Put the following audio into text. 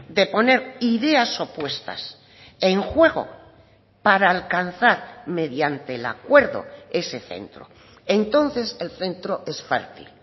de poner ideas opuestas en juego para alcanzar mediante el acuerdo ese centro entonces el centro es fértil